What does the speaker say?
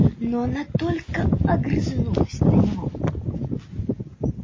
но она только огрызнулась на него